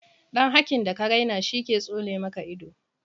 Dan hakin da ka raina shi ke tsone maka ido